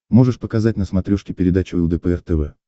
можешь показать на смотрешке передачу лдпр тв